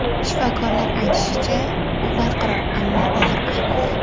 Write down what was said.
Shifokorlar aytishicha, u barqaror, ammo og‘ir ahvolda.